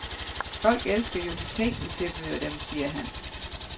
Folk elsker jo de ting, vi tilbyder dem, siger han.